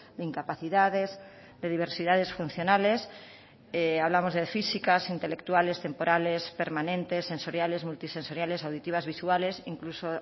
de incapacidades de diversidades funcionales hablamos de físicas intelectuales temporales permanentes sensoriales multisensoriales auditivas visuales incluso